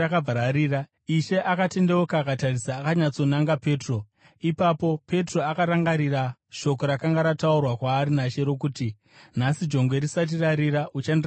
Ishe akatendeuka akatarisa akanyatsonanga Petro. Ipapo Petro akarangarira shoko rakanga rataurwa kwaari naShe rokuti, “Nhasi jongwe risati rarira, uchandiramba katatu.”